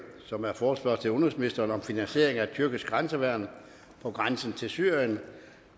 som er forespørgsel til udenrigsministeren om finansiering af det tyrkiske grænseværn på grænsen til syrien